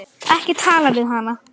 Ekki tala við hana!